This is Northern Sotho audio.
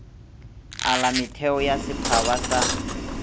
ala metheo ya setphaba sa